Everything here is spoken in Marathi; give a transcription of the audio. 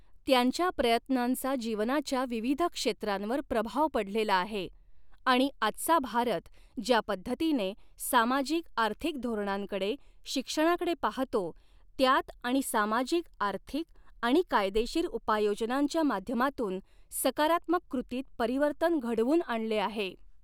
त्यांच्या प्रयत्नांचा जीवनाच्या विविध क्षेत्रांवर प्रभाव पडलेला आहे आणि आजचा भारत ज्या पद्धतीने सामाजिक आर्थिक धोरणांकडे, शिक्षणाकडे पाहतो, त्यात आणि सामाजिक आर्थिक आणि कायदेशीर उपाययोजनांच्या माध्यमातून सकारात्मक कृतीत परिवर्तन घडवून आणले आहे.